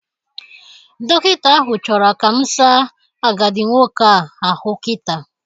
Dọkịta ahụ chọrọ ka mụ saa agadi nwoke a ahụ kita.